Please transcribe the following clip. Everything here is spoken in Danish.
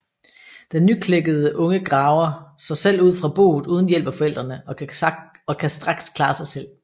Den nyklækkede unge graver sig selv ud fra boet uden hjælp af forældrene og kan straks klare sig selv